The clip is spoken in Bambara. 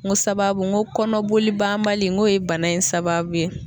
N ko sababu n ko kɔnɔbolibanbali n k'o ye bana in sababu ye.